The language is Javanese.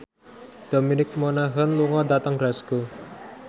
Dominic Monaghan lunga dhateng Glasgow